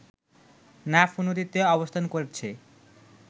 নাফ নদীতে অবস্থান করছে